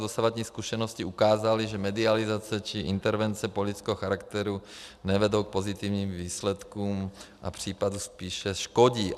Dosavadní zkušenosti ukázaly, že medializace či intervence politického charakteru nevedou k pozitivním výsledkům a případu spíše škodí.